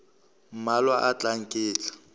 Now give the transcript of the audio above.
mmalwa a tlang ke tla